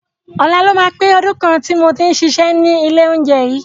Ọ̀la ló máa pé ọdún kan tí mo ti ń ṣiṣẹ́ ní ilé oúnjẹ yìí.